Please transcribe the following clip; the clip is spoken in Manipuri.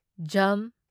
ꯓ